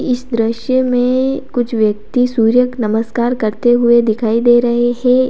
इस दृश्य में कुछ व्यक्ति सूर्य नमस्कार करते हुए दिखाई दे रहे हैं।